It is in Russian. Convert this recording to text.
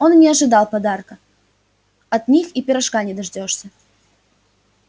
он и не ожидал подарка от них и пирожка не дождёшься